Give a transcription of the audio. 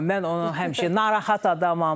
Mən onu həmişə narahat adamam.